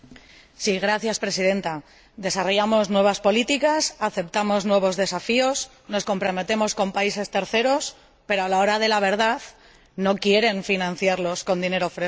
Señora Presidenta, desarrollamos nuevas políticas, aceptamos nuevos desafíos, nos comprometemos con terceros países, pero a la hora de la verdad no quieren financiarlos con dinero fresco.